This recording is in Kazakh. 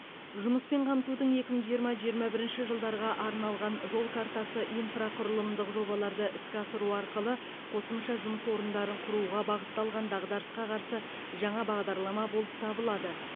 жұмыспен қамтудың екі мың жиырма екі мың жиырма бірінші жылдарға арналған жол картасы инфрақұрылымдық жобаларды іске асыру арқылы қосымша жұмыс орындарын құруға бағытталған дағдарысқа қарсы жаңа бағдарлама болып табылады